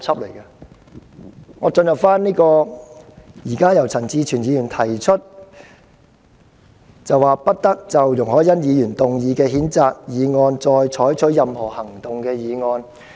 讓我開始討論由陳志全議員提出"不得就容海恩議員動議的譴責議案再採取任何行動"的議案。